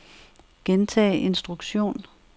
gentag instruktion